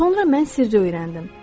Sonra mən sirri öyrəndim.